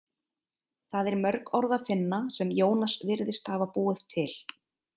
Þar er mörg orð að finna sem Jónas virðist hafa búið til.